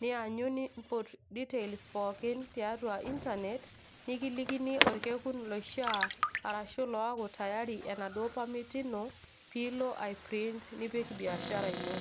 nianyu niimput details pookin tiatua internet, nekilikini orkekun loishaa arashu loaku tayari enaduo permit ino piilo aiprint nipik biashara ino.